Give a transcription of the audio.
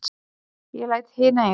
Ég læt hina eiga sig.